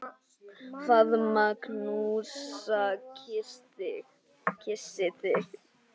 Faðma, knúsa, kyssi þig.